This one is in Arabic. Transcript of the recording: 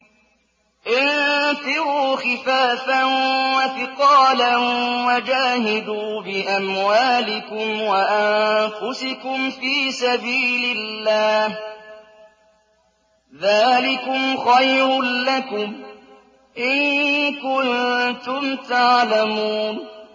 انفِرُوا خِفَافًا وَثِقَالًا وَجَاهِدُوا بِأَمْوَالِكُمْ وَأَنفُسِكُمْ فِي سَبِيلِ اللَّهِ ۚ ذَٰلِكُمْ خَيْرٌ لَّكُمْ إِن كُنتُمْ تَعْلَمُونَ